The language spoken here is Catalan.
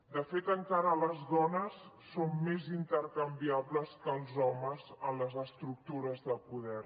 de fet encara les dones són més intercanviables que els homes en les estructures de poder